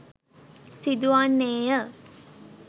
සිදුවන්නේ ය.